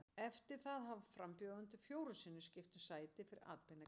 Eftir það hafa frambjóðendur fjórum sinnum skipt um sæti fyrir atbeina kjósenda.